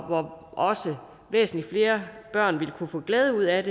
hvor også væsentligt flere børn ville kunne få glæde ud af